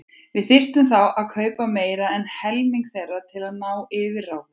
Við þyrftum þá að kaupa meira en helming þeirra til að ná yfirráðum.